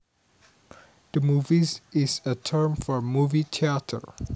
The movies is a term for a movie theater